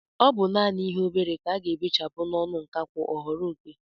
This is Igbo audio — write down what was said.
Ọ bụ naanị obere ihe ka a ga-ebechapụ n'ọnụ nkakwụ ọ ghọrọ oké.